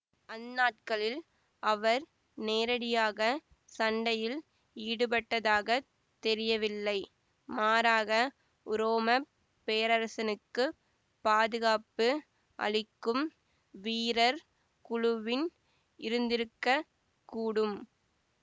அந்நாட்களில் அவர் நேரடியாக சண்டையில் ஈடுபட்டதாகத் தெரியவில்லை மாறாக உரோமப் பேரரசனுக்குப் பாதுகாப்பு அளிக்கும் வீரர் குழுவின் இருந்திருக்க கூடும்